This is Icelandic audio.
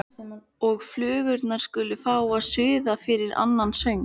Og flugurnar skulu fá að suða yfir henni annan söng.